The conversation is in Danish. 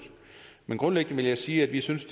men grundlæggende vil jeg sige at vi synes